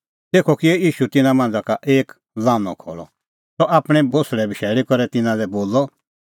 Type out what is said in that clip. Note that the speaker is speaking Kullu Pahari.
तेखअ किअ ईशू तिन्नां मांझ़ा का एक लान्हअ खल़अ सह आपणीं कल़टी दी बशैल़ी करै तिन्नां लै बोलअ